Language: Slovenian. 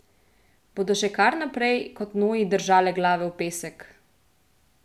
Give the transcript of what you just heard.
Bodo še kar naprej kot noji držale glave v pesek?